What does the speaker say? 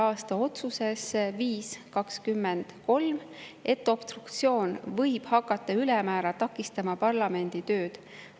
aasta otsuses 5-23, et obstruktsioon võib hakata ülemäära takistama parlamendi tööd.